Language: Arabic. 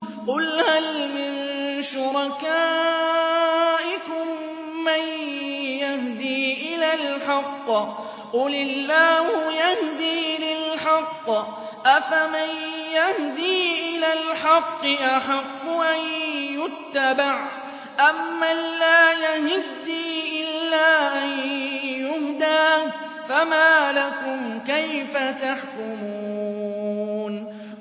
قُلْ هَلْ مِن شُرَكَائِكُم مَّن يَهْدِي إِلَى الْحَقِّ ۚ قُلِ اللَّهُ يَهْدِي لِلْحَقِّ ۗ أَفَمَن يَهْدِي إِلَى الْحَقِّ أَحَقُّ أَن يُتَّبَعَ أَمَّن لَّا يَهِدِّي إِلَّا أَن يُهْدَىٰ ۖ فَمَا لَكُمْ كَيْفَ تَحْكُمُونَ